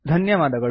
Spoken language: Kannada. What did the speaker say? ಧನ್ಯವಾದಗಳು